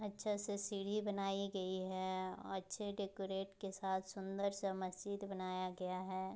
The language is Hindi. अच्छे से सीढ़ी बनाई गई है अच्छे डेकोरेट के साथ सूंदर सा मस्जिद बनाया गया है।